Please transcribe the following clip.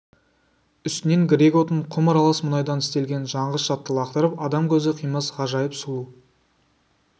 үстінен грек отын құм аралас мұнайдан істелген жанғыш затты лақтырып адам көзі қимас ғажайып сұлу